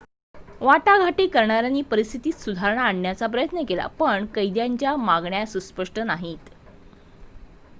वाटाघाटी करणाऱ्यांनी परिस्थितीत सुधारणा आणण्याचा प्रयत्न केला पण कैद्यांच्या मागण्या सुस्पष्ट नाहीत